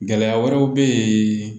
Gɛlɛya wɛrɛw bɛ ye